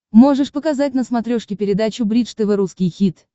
можешь показать на смотрешке передачу бридж тв русский хит